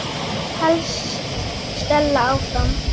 hélt Stella áfram.